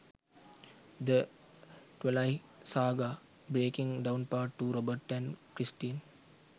the twiligh saga:breaking downpart 2 robert & kristen